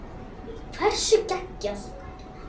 Hversu geggjað?